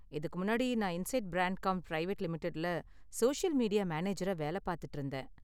இதுக்கு முன்னாடி, நான் இன்சைட் பிராண்ட்காம் பிரைவேட் லிமிடெட்ல சோசியல் மீடியா மேனேஜரா வேல பார்த்திட்டு இருந்தேன்.